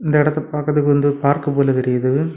இந்த இடத்தை பாக்குறதுக்கு வந்து பார்க்கு போல தெரியுது.